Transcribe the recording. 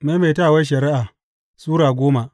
Maimaitawar Shari’a Sura goma